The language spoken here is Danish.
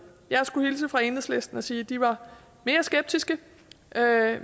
jeg skulle hilse fra enhedslisten og sige at de er mere skeptiske